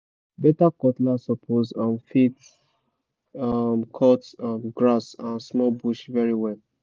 better cutlass suppose um fit um cut um grass and small bush very well